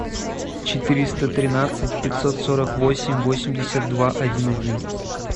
четыреста тринадцать пятьсот сорок восемь восемьдесят два один один